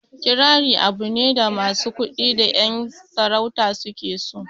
Kirari abu ne da masu kuɗi da ƴan sarauta su ke so